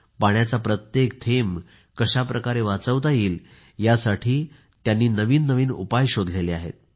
पाण्याचा प्रत्येक थेंब कशाप्रकारे वाचवता येईल यासाठी त्यांनी नवीन नवीन उपाय शोधले आहेत